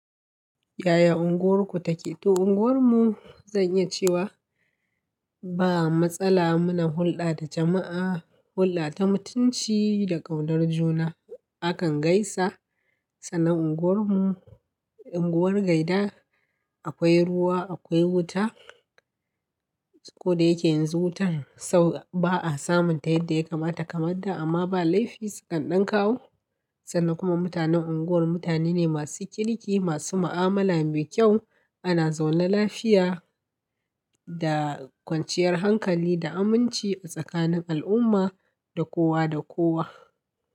Yaya unguwarku take? To unguwar mu zan iya cewa ba matsala muna hulɗa da jama'a, hulɗa ta mutunci da ƙaunar juna. Akan gaisa sanan unguwar mu unguwar gaida, akwai ruwa, akwai wuta. Ko da yake yanzu wutan sau ba'a samun ta yadda ya kamata kamar da amma ba laifi, su kan ɗan kawo. Sannan kuma mutanen unguwar mutane ne masu kirki, masu ma'amala mai kyau. Ana zaune lafiya da kwanciyar hankali da aminci a tsakanin al'umma da kowa da kowa.